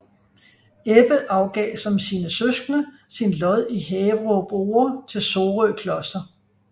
Ebbe afgav som sine søskende sin lod i Haverup Ore til Sorø Kloster